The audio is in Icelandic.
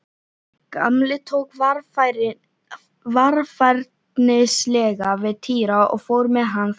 Gamli tók varfærnislega við Týra og fór með hann þangað.